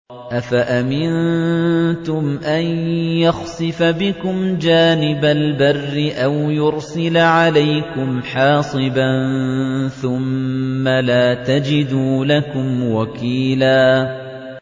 أَفَأَمِنتُمْ أَن يَخْسِفَ بِكُمْ جَانِبَ الْبَرِّ أَوْ يُرْسِلَ عَلَيْكُمْ حَاصِبًا ثُمَّ لَا تَجِدُوا لَكُمْ وَكِيلًا